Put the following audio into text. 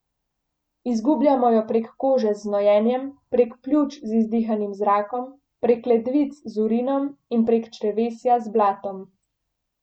Izgubljamo jo prek kože z znojenjem, prek pljuč z izdihanim zrakom, prek ledvic z urinom in prek črevesja z blatom.